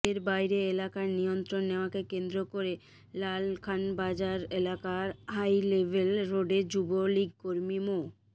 এর বাইরে এলাকার নিয়ন্ত্রণ নেওয়াকে কেন্দ্র করে লালখানবাজার এলাকার হাইলেভেল রোডে যুবলীগকর্মী মো